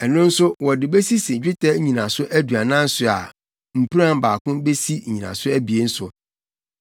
Ɛno nso wɔde besisi dwetɛ nnyinaso aduanan so a mpuran baako besi nnyinaso abien so.